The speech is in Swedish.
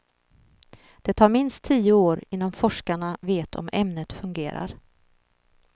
Det tar minst tio år innan forskarna vet om ämnet fungerar.